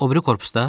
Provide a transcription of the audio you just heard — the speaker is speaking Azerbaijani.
O biri korpusda?